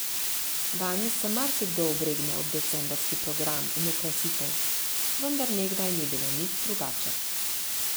Danes se marsikdo obregne ob decembrski program in okrasitev, vendar nekdaj ni bilo nič drugače.